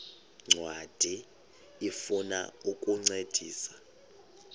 ncwadi ifuna ukukuncedisa